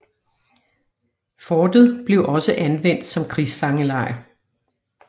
Fortet blev også anvendt som krigsfangelejr